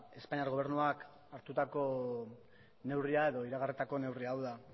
espainiar gobernuak hartutako neurria edo iragarritako neurria hau da